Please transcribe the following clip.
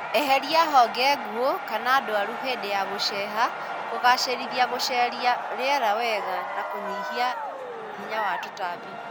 Eheria honge nguo kana ndwaru hĩndĩ ya gũceha kũgacĩrithia gũsheria rĩera wega na kũnyihia hinya wa tũtambi